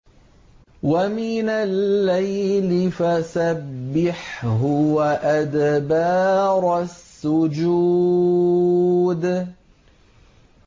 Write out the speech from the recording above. وَمِنَ اللَّيْلِ فَسَبِّحْهُ وَأَدْبَارَ السُّجُودِ